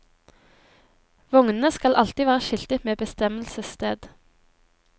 Vognene skal alltid være skiltet med bestemmelsessted.